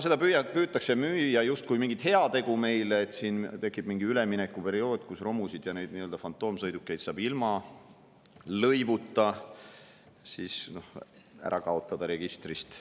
Seda püütakse meile müüa justkui mingit heategu, et tekib mingi üleminekuperiood, kui romusid ja nii-öelda fantoomsõidukeid saab ilma lõivuta ära kaotada registrist.